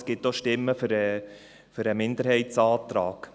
Es gibt aber auch Stimmen für den Minderheitsantrag.